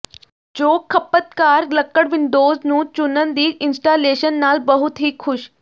ਜੋ ਖਪਤਕਾਰ ਲੱਕੜ ਵਿੰਡੋਜ਼ ਨੂੰ ਚੁਣਨ ਦੀ ਇੰਸਟਾਲੇਸ਼ਨ ਨਾਲ ਬਹੁਤ ਹੀ ਖੁਸ਼